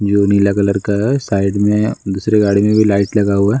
जो नीला कलर का है साइड में दूसरे गाड़ी में भी लाइट लगा हुआ है।